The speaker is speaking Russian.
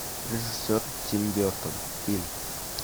режиссер тим бертон фильм